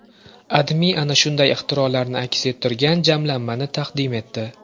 AdMe ana shunday ixtirolarni aks ettirgan jamlanmani taqdim etdi .